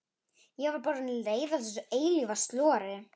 Ég var bara orðin leið á þessu eilífa slori.